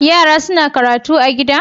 Yara suna karatu a gida?